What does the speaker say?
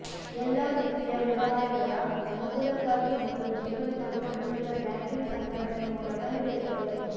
ಎಲ್ಲಾ ವಿತ್ತೀಯ ವ್ಯವಹಾರಗಳ ಅನುಕೂಲಕ್ಕಾಗಿ ಮತ್ತು ಜೀವನದ ಗುಣಮಟ್ಟದ ಬ್ಯಾಂಕಿಂಗ್ ಸಂಘಟನೆಯ ಮೂಲಕ ನಡೆಯುತ್ತವೆ